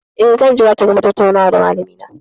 Eh, zan jira ta gama tattaunawa da malamina.